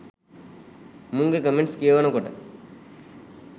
මුංගෙ comments කියවනකොට